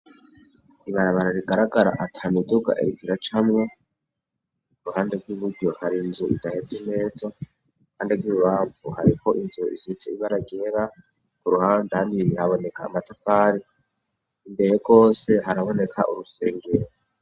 Ibarabara rigaragara atanuduga ergira camwa ku ruhande rw'ibudo hari inzu idaheze meza, kandi rw'iribavu hariko inzu isitse ibaragera ku ruhande handi ibibihaboneka amatafari imbere rwose haraboneka urusengero.